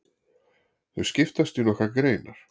Þau skiptast í nokkrar greinar.